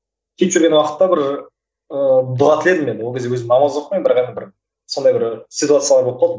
сөйтіп жүрген уақытта бір ыыы дұға тіледім мен ол кезде өзім намаз оқымаймын бірақ енді бір сондай бір ситуациялар болып қалды